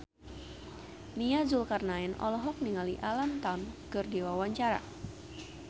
Nia Zulkarnaen olohok ningali Alam Tam keur diwawancara